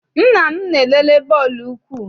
Nna m na-elele bọọlụ ụkwụ.